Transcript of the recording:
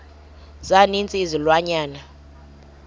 za ninzi izilwanyana